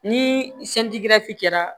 Ni kɛra